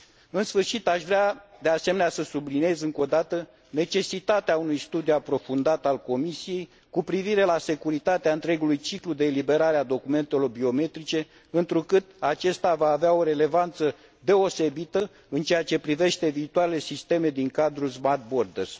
În sfârșit, aș vrea, de asemenea, să subliniez încă o dată necesitatea unui studiu aprofundat al Comisiei cu privire la securitatea întregului ciclu de eliberare a documentele biometrice, întrucât acesta va avea o relevanță deosebită în ceea ce privește viitoarele sisteme din cadrul Smart Borders.